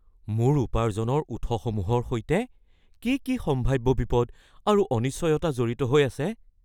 মোৰ উপাৰ্জনৰ উৎসসমূহৰ সৈতে কি কি সম্ভাব্য বিপদ আৰু অনিশ্চয়তা জড়িত হৈ আছে?